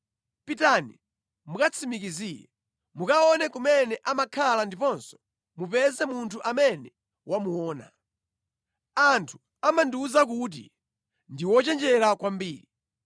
Pitani mukatsimikizire. Mukaone kumene amakhala ndiponso mupeze munthu amene wamuona. Anthu amandiwuza kuti ndi wochenjera kwambiri.